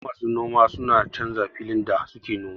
Yawanci masu noma suna canza filin da suke noma